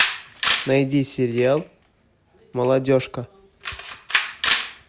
найди сериал молодежка